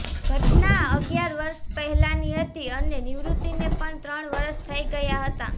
ઘટના અગીયાર વર્ષ પહેલાની હતી અને નિવૃત્તીને પણ ત્રણ વર્ષ થઈ ગયા હતા